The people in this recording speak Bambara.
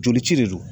Joli ci de don